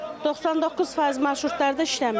99% marşrutlarda işləmir.